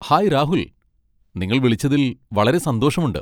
Hi, Rahul! നിങ്ങൾ വിളിച്ചതിൽ വളരെ സന്തോഷമുണ്ട്.